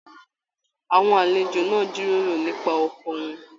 Àwọn àlejò náà n jíròrò nipa ọkọ wọn.